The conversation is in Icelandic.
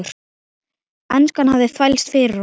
Enskan hafði þvælst fyrir honum.